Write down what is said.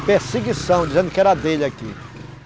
A perseguição, dizendo que era dele aqui.